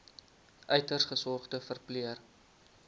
uiters gesogde verpleër